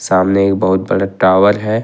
सामने एक बहुत बड़ा टावर है।